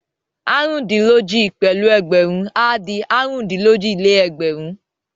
Àrùndín-lójì pẹ̀lú ẹgbẹ̀rún á di àrùndín-lójì-lé-ẹgbẹ̀rún.